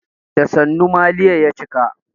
Da sannu maliya ya cika.